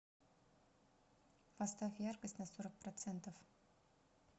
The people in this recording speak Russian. поставь яркость на сорок процентов